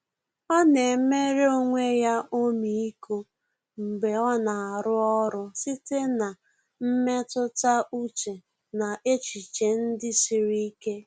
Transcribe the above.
Ọ́ nà-éméré onwe ya ọmịiko mgbe ọ́ nà-árụ́ ọ́rụ́ site na mmetụta úchè na echiche ndị siri ike.